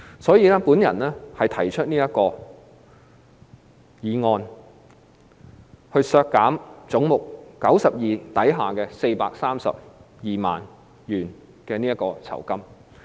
所以，我提出這項修正案，將總目92削減432萬元。